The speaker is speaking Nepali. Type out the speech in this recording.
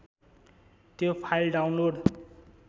त्यो फाइल डाउनलोड